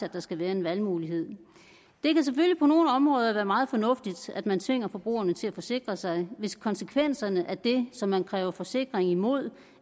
at der skal være en valgmulighed det kan selvfølgelig på nogle områder være meget fornuftigt at man tvinger forbrugerne til at forsikre sig hvis konsekvenserne af det som man kræver forsikring imod